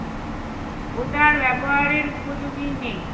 ওটা আর ব্যাবহারের উপযোগী নেই